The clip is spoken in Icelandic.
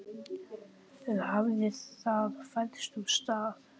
Eða hafði það færst úr stað?